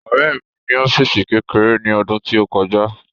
Ọ̀rẹ́ mi ní ọ́físì kékeré ní ọdún tí ó kọjá